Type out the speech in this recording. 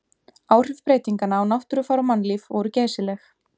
Áhrif breytinganna á náttúrufar og mannlíf voru geysileg.